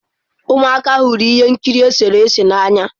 Ụmụaka hụrụ ihe nkiri eserese n'anya.